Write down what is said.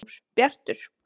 Bjartur